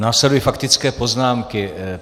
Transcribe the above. Následují faktické poznámky.